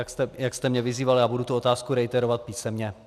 A jak jste mě vyzýval, já budu tu otázku reiterovat (?) písemně.